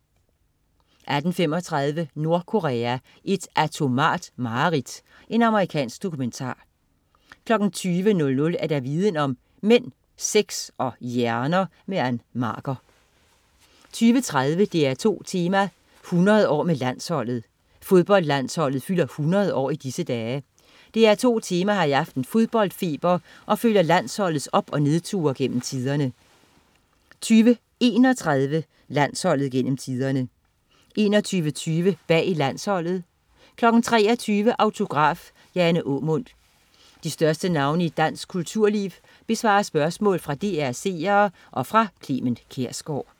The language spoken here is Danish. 18.35 Nordkorea, et atomart mareridt. Amerikansk dokumentar 20.00 Viden om: Mænd, sex og hjerner. Ann Marker 20.30 DR2 Tema: 100 år med Landsholdet. Fodboldlandsholdet fylder 100 år i disse dage. DR2 Tema har i aften fodboldfeber og følger landsholdets op- og nedture gennem tiderne 20.31 Landsholdet gennem tiderne 21.20 Bag landsholdet 23.00 Autograf: Jane Aamund. De største navne i dansk kulturliv besvarer spørgsmål fra DR's seere og fra Clement Kjersgaard